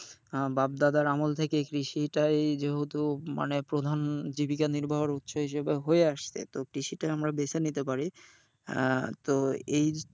আহ বাপ দাদার আমল থেকে কৃষিটাই যেহেতু মানে প্রধান জীবিকা নির্বাহের উৎস হিসাবে হয়ে আসছে তো কৃষিটা আমরা বেছে নিতে পারি আহ তো এই,